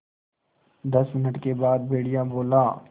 दस मिनट के बाद भेड़िया बोला